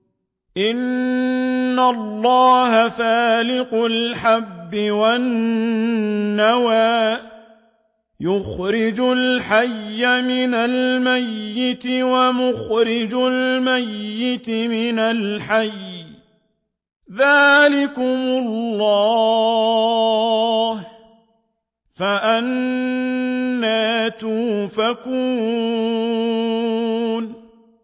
۞ إِنَّ اللَّهَ فَالِقُ الْحَبِّ وَالنَّوَىٰ ۖ يُخْرِجُ الْحَيَّ مِنَ الْمَيِّتِ وَمُخْرِجُ الْمَيِّتِ مِنَ الْحَيِّ ۚ ذَٰلِكُمُ اللَّهُ ۖ فَأَنَّىٰ تُؤْفَكُونَ